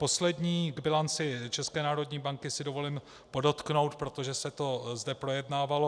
Poslední k bilanci ČNB si dovolím podotknout, protože se to zde projednávalo.